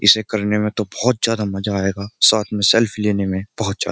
इसे करने में तो बहोत ज्यादा मजा आयेगा। साथ में सेल्फी लेने में बहुत ज्यादा --